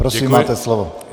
Prosím, máte slovo.